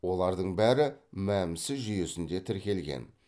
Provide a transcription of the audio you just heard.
олардың бәрі мәмсі жүйесінде тіркелген